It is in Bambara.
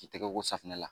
K'i tɛgɛ ko safinɛ la